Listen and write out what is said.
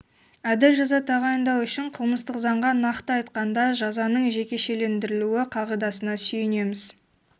әділ жаза тағайындау үшін қылмыстық заңға нақты айтқанда жазаның жекешелендірілуі қағидасына сүйенеміз